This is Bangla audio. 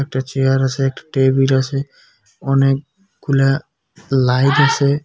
একটা চেয়ার আছে একটা টেবিল আছে অনেকগুলা লাইট আছে।